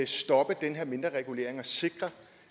stoppe den her mindreregulering og sikre